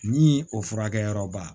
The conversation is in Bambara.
Ni o furakɛyɔrɔba